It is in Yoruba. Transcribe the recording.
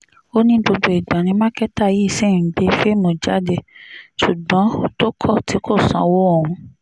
ó ní gbogbo ìgbà ni mákẹ́tà yìí ṣì ń gbé fíìmù jáde ṣùgbọ́n tó kọ̀ tí kò sanwó òun